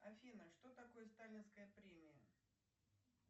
афина что такое сталинская премия